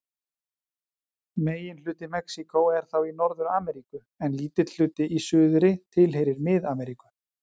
Megin hluti Mexíkó er þá í Norður-Ameríku en lítill hluti í suðri tilheyrir Mið-Ameríku.